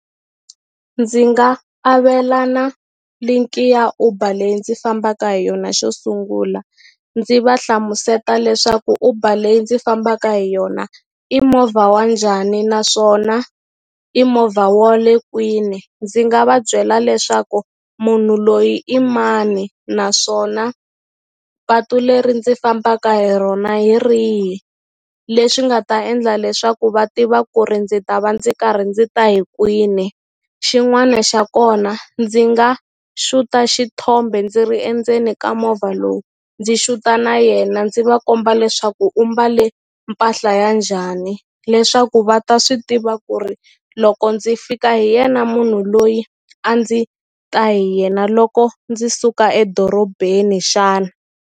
Ndzi nga avelana link-i ya Uber leyi ndzi fambaka hi yona xo sungula ndzi va hlamuseta leswaku Uber leyi ndzi fambaka hi yona i movha wa njhani naswona i movha wa le kwini ndzi nga va byela leswaku munhu loyi i mani naswona patu leri ndzi fambaka hi rona hi rihi leswi nga ta endla leswaku va tiva ku ri ndzi ta va ndzi karhi ndzi ta hi kwini xin'wani xa kona ndzi nga xuta xithombe ndzi ri endzeni ka movha lowu ndzi xuta na yena ndzi va komba leswaku u mbale mpahla ya njhani leswaku va ta swi tiva ku ri loko ndzi fika hi yena munhu loyi a ndzi ta hi yena loko ndzi suka edorobeni xana.